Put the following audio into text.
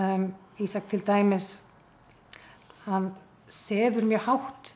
Ísak til dæmis hann sefur mjög hátt